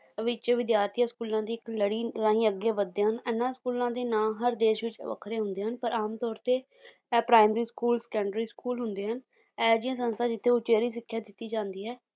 ਵਿੱਚ ਵਿਦਿਆਰਥੀ ਸਕੂਲਾਂ ਦੀ ਇੱਕ ਲੜੀ ਰਾਂਹੀ ਅੱਗੇ ਵੱਧਦੇ ਹਨ, ਇਹਨਾਂ ਸਕੂਲਾਂ ਦੇ ਨਾ ਹਰ ਦੇਸ਼ ਵਿੱਚ ਵੱਖਰੇ ਹੁੰਦੇ ਹਨ ਪਰ ਆਮ ਤੌਰ ਤੇ ਏਹ primary school secondary school ਹੁੰਦੇ ਹਨ, ਇਹ ਜਿਹੀਆਂ ਸੰਸਥਾ ਜਿੱਥੇ ਉਚੇਰੀ ਸਿੱਖਿਆ ਦਿੱਤੀ ਜਾਂਦੀ ਹੈ